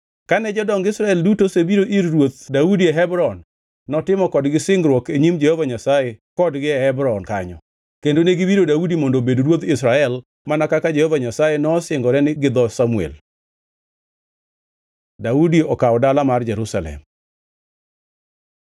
Kane jodong Israel duto osebiro ir Ruoth Daudi e Hebron, notimo kodgi singruok e nyim Jehova Nyasaye kodgi e Hebron kanyo, kendo ne giwiro Daudi mondo obed ruodh Israel mana kaka Jehova Nyasaye nosingore gi dho Samuel. Daudi okawo dala mar Jerusalem